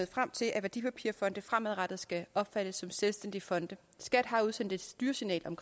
frem til at værdipapirfonde fremadrettet skal opfattes som selvstændige fonde skat har udsendt et styresignal om